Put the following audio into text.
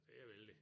Det er vældigt